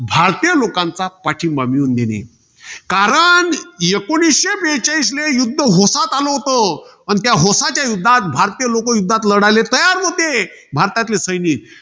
भारतीय लोकांचा पाठींबा मिळवून देणे. कारण एकोणीसशे बेचाळीसला युध्द होसात आलं होतं. आणि त्या होसाच्या युद्धात भारताचे लोकं लढायले तयार नवते. भारतातले सैनिक.